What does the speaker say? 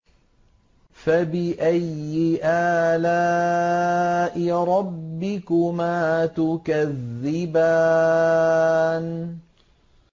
فَبِأَيِّ آلَاءِ رَبِّكُمَا تُكَذِّبَانِ